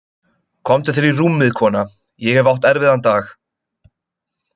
Komdu þér í rúmið, kona, ég hef átt erfiðan dag.